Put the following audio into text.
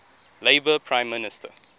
labour prime minister